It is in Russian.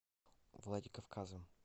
владикавказом